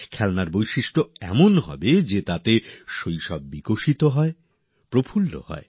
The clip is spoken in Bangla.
খেলনা সেরকম হোক যা থাকলে শৈশব জেগে ওঠে বর্ণময় হয়